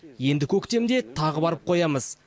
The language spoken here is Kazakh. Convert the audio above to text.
енді көктемде тағы барып қоямыз